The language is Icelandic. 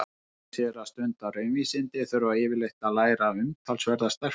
Þeir sem ætla sér að stunda raunvísindi þurfa yfirleitt að læra umtalsverða stærðfræði.